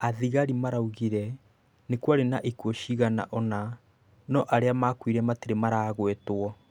Athigarĩ maraugĩre nĩkwarĩ na ikuũcigana ũna no arĩa makuire matirĩ maragwetwo.